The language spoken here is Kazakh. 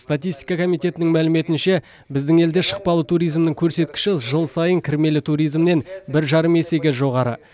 статистика комитетінің мәліметінше біздің елде шықпалы туризмнің көрсеткіші жыл сайын кірмелі туризмнен бір жарым есеге жоғары